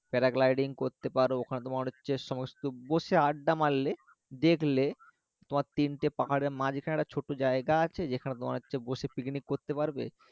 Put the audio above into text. করতে পারো তোমার হচ্ছে সমস্ত বসে আড্ডা মারলে দেখলে তোমার তিনটে পাহাড়ের মাঝখানে একটা ছোট্ট জায়গা আছে যেখানে তোমার হচ্ছে বসে পিকনিক করতে পারবে